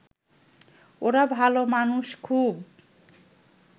ওরা ভাল মানুষ খুব